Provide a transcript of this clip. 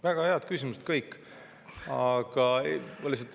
Väga head küsimused kõik.